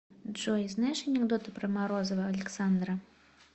джой знаешь анекдоты про морозова александра